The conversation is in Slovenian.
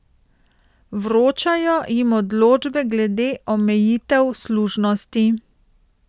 Vročajo jim odločbe glede omejitev služnosti.